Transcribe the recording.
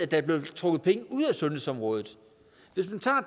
der er blevet trukket penge ud af sundhedsområdet hvis man tager